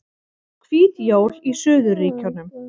Hvít jól í suðurríkjunum